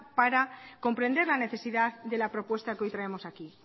para comprender la necesidad de la propuesta que hoy traemos aquí